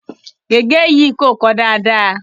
Gègé yìí kò kọ dáadáa.